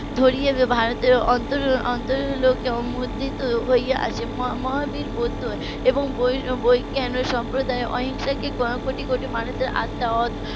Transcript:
ধরে ভারতের অন্তর অন্তরে মুদ্রিত হয়ে আছে মহাবীর বৌদ্ধ এবং . সম্প্রদায় অহিংসাকে কোটি কোটি মানুষের আত্মার